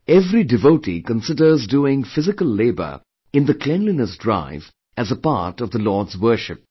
Every devotee considers doing physical labour in the cleanliness drive as a part of the Lord's worship